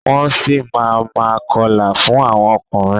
Wọ́n si máa ma kọlà fún àwọn ọkùnrin.